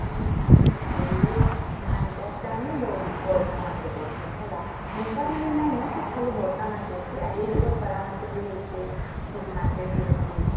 ବେଳେ ଧାନ ଚାଷ ଟା ନା ବୋହୁତ ବର୍ଷା ମାସେ କରୁସନ ହେଲା ହେଣ୍ଟା ମାନେ ନାଇଁ ନ ଖାଲି ବର୍ଷ ମାସେ ହେଇସି ଆଜି କାଲି ତ ଖରା ମେ ବି ହଉସି ଶୀତ ମାସେ ବି ହଉଛି